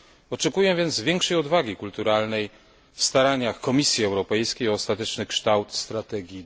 Oczekuję więc większej odwagi kulturalnej w staraniach Komisji Europejskiej o ostateczny kształt strategii